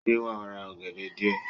Ṣé wàá ra ògèdè díè